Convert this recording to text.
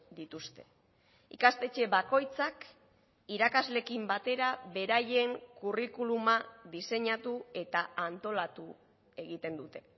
dituzte ikastetxe bakoitzak irakasleekin batera beraien kurrikuluma diseinatu eta antolatu egiten dute